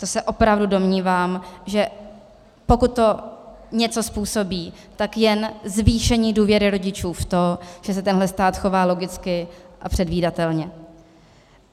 To se opravdu domnívám, že pokud to něco způsobí, tak jen zvýšení důvěry rodičů v to, že se tenhle stát chová logicky a předvídatelně.